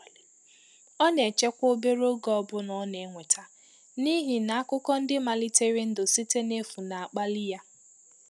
Ọ na-echekwa obere ego ọbụna ọ na-enweta, n’ihi na akụkọ ndị malitere ndụ site n’efu na-akpalị ya.